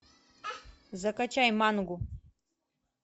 закачай мангу